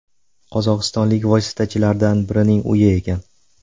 Qozog‘istonlik vositachilardan birining uyi ekan.